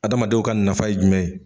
Adamadenw ka nafa ye jumɛn ye